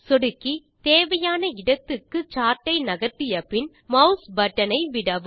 சொடுக்கி தேவையான இடத்துக்கு சார்ட்டை நகர்த்தியபின் மாஸ் பட்டன் ஐ விடவும்